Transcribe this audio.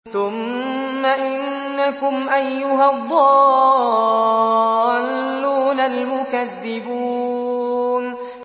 ثُمَّ إِنَّكُمْ أَيُّهَا الضَّالُّونَ الْمُكَذِّبُونَ